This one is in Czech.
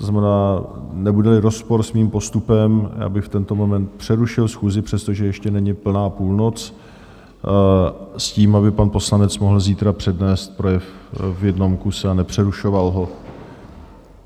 To znamená, nebude-li rozpor s mým postupem, já bych v tento moment přerušil schůzi, přestože ještě není plná půlnoc s tím, aby pan poslanec mohl zítra přednést projev v jednom kuse a nepřerušoval ho.